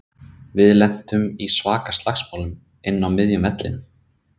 Við lentum í svaka slagsmálum inn á miðjum vellinum.